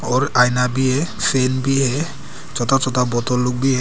और आईना भी है फ्रेम भी है छोटा छोटा बोतल लोग भी है।